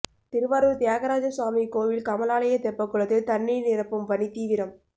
திருவாரூர் தியாகராஜ சுவாமி கோயில் கமலாலய தெப்பக்குளத்தில் தண்ணீர் நிரப்பும் பணி தீவிரம்